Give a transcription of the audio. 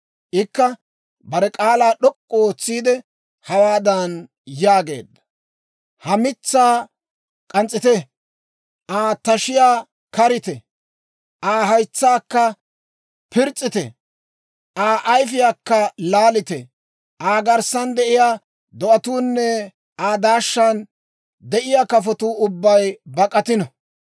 Ikka bare k'aalaa d'ok'k'u ootsiide, hawaadan yaageedda; ‹Ha mitsaa k'ans's'ite; Aa tashiyaa karite; Aa haytsaakka piriis's'ite; Aa ayfiyaakka laalite. Aa garssan de'iyaa do'atuunne Aa daashshan de'iyaa kafotuu ubbay bak'atino.